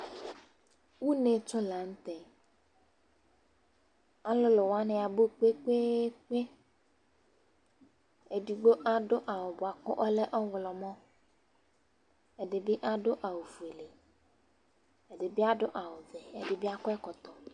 Ʊnetsɔ lanʊtɛ Alʊlʊ wanɩ abʊ kpekpeekpe Edɩgbo adʊ awʊ bʊakʊ ɔlɛ ɔwlɔmɔ ɛdɩbɩ adʊ awʊ fʊele, ɛdɩbɩ adʊ awʊ vɛ, ɛdɩbɩ akɔ ɛkɔtɔ